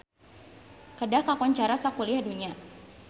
Kedah kakoncara sakuliah dunya